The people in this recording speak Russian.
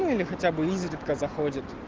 ну или хотя бы изредка заходит